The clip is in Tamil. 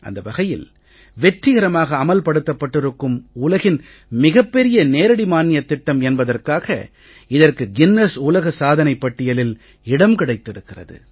அந்த வகையில் வெற்றிகரமாக அமல் படுத்தப்பட்டிருக்கும் உலகின் மிகப் பெரிய நேரடி மானியத் திட்டம் என்பதற்காக இதற்கு கின்னஸ் உலக சாதனைப் பட்டியலில் இடம் கிடைத்திருக்கிறது